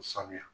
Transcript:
U sanuya